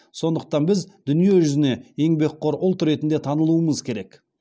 сондықтан біз дүниежүзіне еңбекқор ұлт ретінде танылуымыз керек